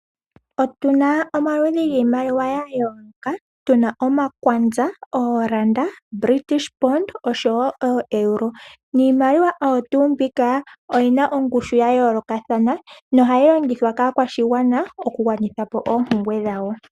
Otuna omaludhi giimaliwa ya yooloka tuna omakwanza ooranda ,British pond oshowo oero niimaliwa oyo tuu mbika oyina ongushu ya yoolokathana nohayi longithwa kaskwashigwana pkugwanitha po oompumbwe dhawo.